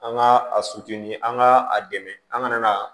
An ka a an ka a dɛmɛ an ka na